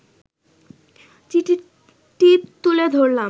চিঠিটি তুলে ধরলাম